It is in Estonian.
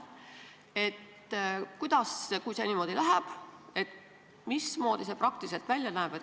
Kui see niimoodi läheb, siis mismoodi see praktiliselt välja näeb?